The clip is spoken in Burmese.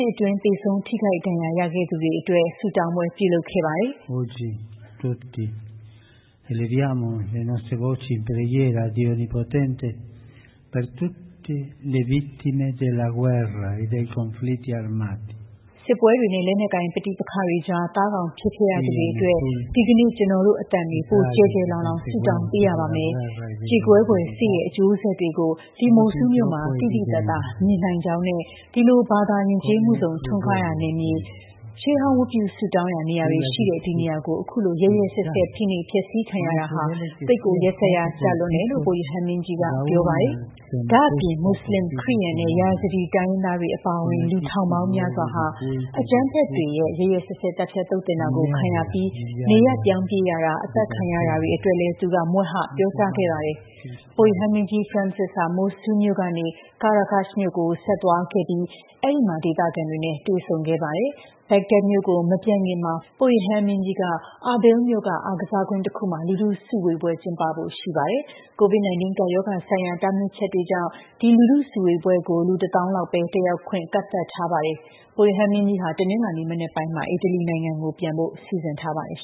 တွင်း သေဆုံးထိခိုက်ခဲ့ရ သူတွေအတွက် ဆုတောင်းပွဲပြုလုပ်ခဲ့တာပါ။ “စစ်ပွဲတွေနဲ့ လက်နက်ကိုင်ပဋိပက္ခတွေကြား သားကောင်ဖြစ်ခဲ့ရသူတွေအတွက် ဒီကနေ့ ကျနော်တို့ အသံတွေ ပိုကျယ်ကျယ်လောင်လောင် ဆုတောင်းပေးရပါမယ်။ ကြေကွဲဖွယ် စစ်ရဲ့ အကျိုးဆက်တွေ ကို ဒီ Mosul မြို့မှာ သိသိသာသာမြင်နိုင်ပါတယ်။ ဒီလို ဘာသာယဉ်ကျေးမှုစုံထွန်းကားရာမြေ၊ ရှေးဟောင်း ဝတ်ပြုဆုတောင်းရာနေရာတွေရှိတဲ့ ဒီနေရာကို အခုလို ရက်ရက်စက်စက် ဖိနှိပ်ဖျက်ဆီးခံရတာဟာ သိပ်ကို ရက်စက်ရာကျတယ” လို့ ပုပ်ရဟန်းမင်းကြီးကပြောပါတယ်။ ဒါ့အပြင် မူဆလင်၊ ခရစ်ယာန်နဲ့ Yazidi တိုင်းရင်းသားတွေအပါအဝင် လူထောင်ပေါင်းများစွာ အကြမ်းဖက်တွေရဲ့ ရက်ရက်စက်စက် သတ်ဖြတ်သုတ်သင်တာကိုခံရပြီး နေရပ်ပြောင်းပြေးရတာ အသတ်ခံရတာတွေအတွက်လည်း သူက မြွက်ဟပြောကြားခဲ့တာပါ။ ပုပ်ရဟန်းမင်းကြီး Francis ဟာ Mosul မြို့ကနေ Qaraqosh မြို့ကို ဆက်သွားခဲ့ပြီး အဲဒီမှာ ဒေသခံတွေနဲ့ တွေ့ဆုံခဲ့ပါတယ်။ Baghdad မြို့ကို မပြန်ခင်မှာ ပုပ်ရဟန်းမင်းကြီးက Erbil မြို့က အားကစားကွင်းတခုမှာ လူထု စုဝေးပွဲ ကျင်းပဖို့ရှိပါတယ်။COVID-19 ကပ်ရောဂါ ဆိုင်ရာတားမြစ်ချက်တွေကြောင့် ဒီလူထုစုဝေးပွဲကို လူ ၁၀,၀၀၀ လောက်ပဲတက်ရောက်ခွင့်ကန့်သတ်ထားပါတယ်။ ပုပ်ရဟန်းမင်းကြီးဟာ တနင်္လာနေ့ မနက်ပိုင်းမှာ အီတလီနိုင်ငံကို ပြန်ဖို့ စီစဉ်ထားပါတယ်